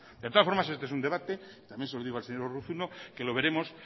de todas formas esto es un debate también se lo digo al señor urruzuno que lo veremos